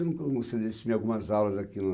Tem como você algumas aulas aqui no